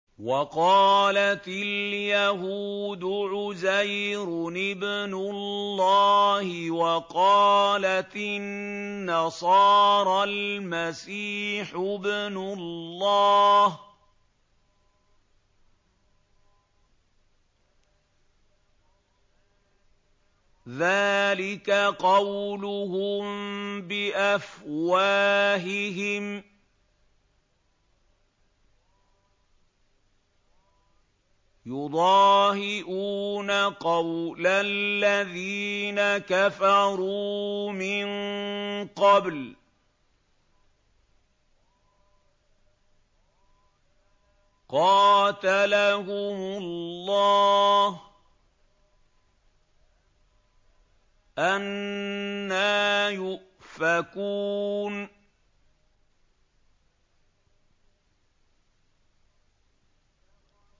وَقَالَتِ الْيَهُودُ عُزَيْرٌ ابْنُ اللَّهِ وَقَالَتِ النَّصَارَى الْمَسِيحُ ابْنُ اللَّهِ ۖ ذَٰلِكَ قَوْلُهُم بِأَفْوَاهِهِمْ ۖ يُضَاهِئُونَ قَوْلَ الَّذِينَ كَفَرُوا مِن قَبْلُ ۚ قَاتَلَهُمُ اللَّهُ ۚ أَنَّىٰ يُؤْفَكُونَ